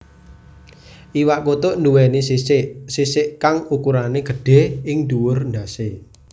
Iwak kutuk nduwèni sisik sisik kang ukurané gedhé ing dhuwur ndhasé